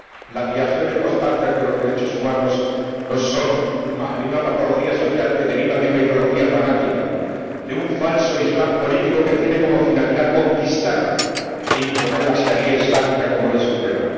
Las violaciones constantes de los derechos humanos no son más que una patología social que deriva de una ideología fanática, de un falso islam político que tiene como finalidad conquistar e imponer la sharía islámica como ley suprema.